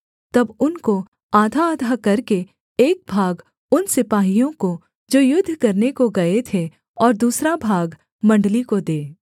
तब उनको आधाआधा करके एक भाग उन सिपाहियों को जो युद्ध करने को गए थे और दूसरा भाग मण्डली को दे